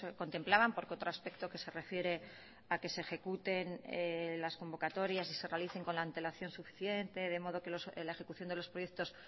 contemplaban porque otro aspecto que se refiere a que se ejecuten las convocatorias y se realicen con la antelación suficiente de modo que la ejecución de los proyectos